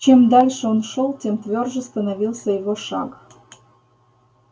чем дальше он шёл тем твёрже становился его шаг